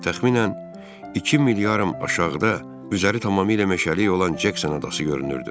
Təxminən iki mil yarım aşağıda üzəri tamamilə meşəlik olan Cəksin adası görünürdü.